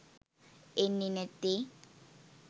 එන්නේ නැත්තේ.